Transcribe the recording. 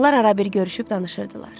Onlar ara bir görüşüb danışırdılar.